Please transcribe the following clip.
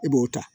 I b'o ta